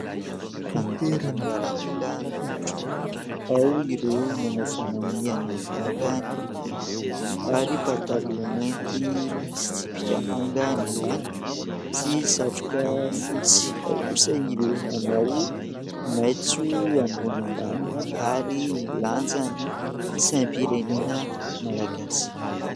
Andiana miaramila milatro. Ao ireo manao fanamiana manga ny ambony ary pataloha mainty misy tsipika manga ny ambany, sy satroka fotsy. Ao kosa ireo manao maitso ambony ambany ary milanja ny saim-pirenena malagasy.